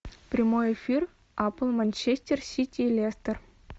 прямой эфир апл манчестер сити лестер